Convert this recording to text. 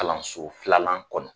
Kalanso filanan kɔnɔ.